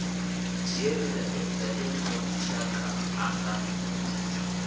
dzhie mulaedza wonoyo shaka ḽanga